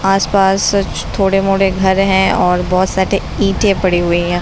आस-पास सच थोड़े-मोड़े घर हैं और बहुत सारे ईंटे पड़े हुए हैं।